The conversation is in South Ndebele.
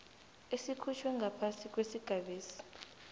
esikhutjhwe ngaphasi kwesigabesi